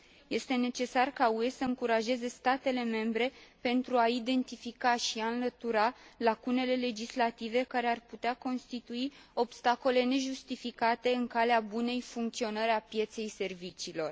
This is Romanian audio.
Este necesar ca UE să încurajeze statele membre pentru a identifica și înlătura lacunele legislative care ar putea constitui obstacole nejustificate în calea bunei funcționări a pieței serviciilor.